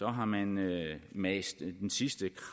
har man mast den sidste